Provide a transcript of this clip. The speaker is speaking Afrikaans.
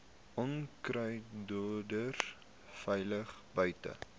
onkruiddoders veilig buite